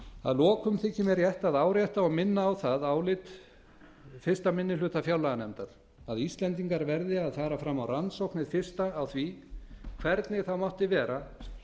að lokum þykir mér rétt að árétta og minna á það álit fyrsta minnihluta fjárlaganefndar að íslendingar verði að fara fram á rannsókn hið fyrsta á því hvernig það mátti vera